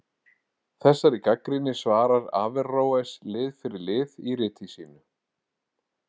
Þessari gagnrýni svarar Averroes lið fyrir lið í riti sínu.